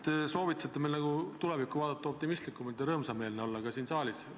Te soovitasite meil tulevikku vaadata optimistlikumalt ja olla rõõmsameelne ka siin saalis.